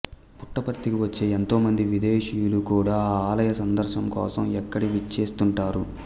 పుట్టపర్తికి వచ్చే ఎంతో మంది విదేశీయులు కూడా ఈ ఆలయ సందర్శన కోసం ఇక్కడికి విచ్చేస్తుంటారు